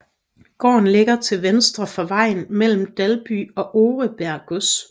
Gården ligger til venstre for vejen mellem Dalby og Oreberg Gods